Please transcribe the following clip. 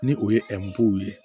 Ni o ye ye